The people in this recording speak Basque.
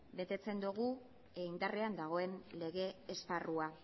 betetzen dogu indarrean dagoen lege esparrua